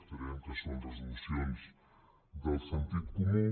creiem que són resolucions del sentit comú